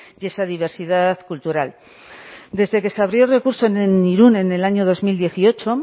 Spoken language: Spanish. y esa diversidad cultural desde que se abrió el recurso en irun en el año dos mil dieciocho